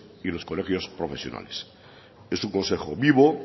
y los colegios profesionales es un consejo vivo